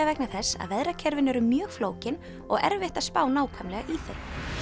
vegna þess að veðrakerfin eru mjög flókin og erfitt að spá nákvæmlega í þau